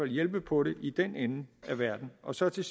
hjælpe på det i den ende af verden og så til